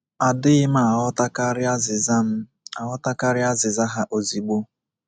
Adịghị m aghọtakarị azịza m aghọtakarị azịza ha ozugbo.